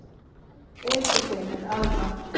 Eiríkur segir þetta alrangt.